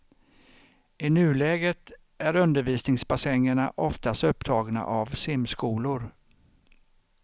I nuläget är undervisningsbassängerna oftast upptagna av simskolor.